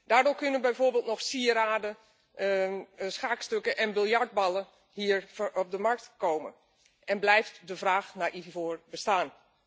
Daardoor kunnen bijvoorbeeld nog sieraden, schaakstukken en biljartballen hier op de markt komen en blijft de vraag naar ivoor bestaan.